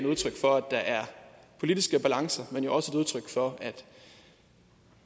udtryk for at der er politiske balancer men det er også udtryk for at